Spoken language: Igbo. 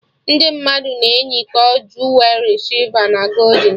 Ndị mmadụ na eyikọ juwerị sịlva na goldin